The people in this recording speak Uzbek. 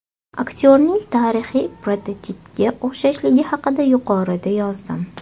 Aktyorning tarixiy prototipga o‘xshashligi haqida yuqorida yozdim.